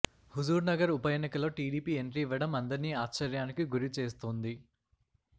హుజూర్నగర్ ఉప ఎన్నికలో TDP entry ఇవ్వడం అందర్నీ ఆశ్చర్యానికి గురిచేస్తోంది